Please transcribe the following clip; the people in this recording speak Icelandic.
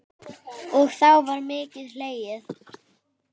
Og þá var mikið hlegið.